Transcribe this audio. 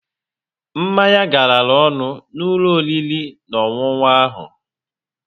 Mmanya garara ọnụ n'ụlọ oriri na onwunwu ahụ